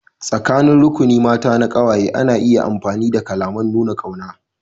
Tsakanin rukuni na ƙawaye mata ana iya amfani da kalaman nuna ƙauna.